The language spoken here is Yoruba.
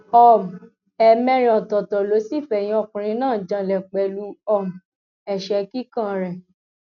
um ẹẹmẹrin ọtọọtọ ló sì fẹyìn ọkùnrin náà janlẹ pẹlú um ẹṣẹ kíkàn rẹ